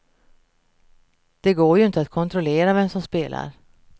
Det går ju inte att kontrollera vem som spelar.